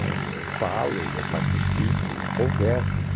Né, eu falo, eu participo, eu converso.